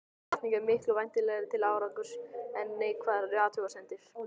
Hvatning er miklu vænlegri til árangurs en neikvæðar athugasemdir.